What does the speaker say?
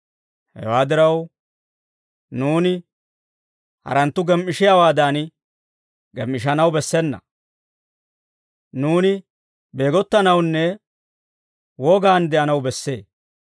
Hewaa diraw, nuuni haratuu gem"ishiyaawaadan gem"ishshanaw bessena. Nuuni beegottanawunne wogaan de'anaw bessee.